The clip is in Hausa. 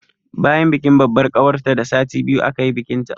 Bayan bikin babbar ƙawarta da sati biyu aka yi bikinta